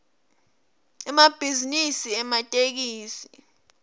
emabhizinisi ematekisi